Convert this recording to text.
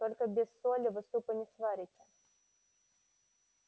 только без соли вы супа не сварите